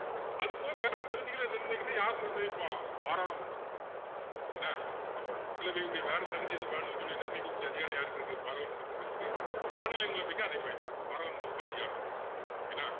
அதுபோக வேற தகுதிகளை நிர்ணயிக்கணுன்னா யாரு நிர்ணயிப்பா பாராளுமன்றம் என்ன அப்போ மக்களவையினுடைய வேற தகுதி எதுவும் வேணும்னு சொல்லி நிர்ணயிக்க கூடிய அதிகாரம் யாருக்கு இருக்கு பாராளுமன்றத்துக்கு இருக்கு மாநிலங்களவைக்கும் அதே மாதிரிதான் பாராளுமன்றத்துக்கு அதிகாரம் இருக்கு என்ன